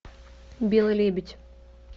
белый лебедь